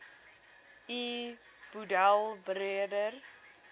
u boedel beredder